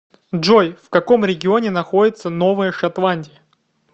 джой в каком регионе находится новая шотландия